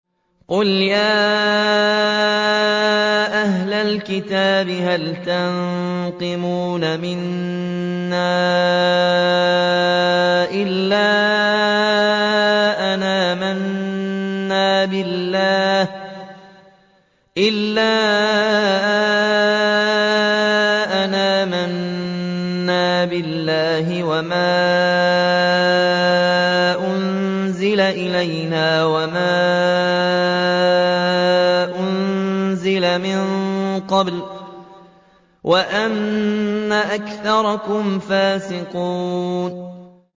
قُلْ يَا أَهْلَ الْكِتَابِ هَلْ تَنقِمُونَ مِنَّا إِلَّا أَنْ آمَنَّا بِاللَّهِ وَمَا أُنزِلَ إِلَيْنَا وَمَا أُنزِلَ مِن قَبْلُ وَأَنَّ أَكْثَرَكُمْ فَاسِقُونَ